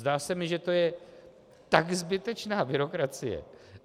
Zdá se mi, že to je tak zbytečná byrokracie.